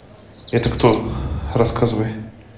это кто рассказывай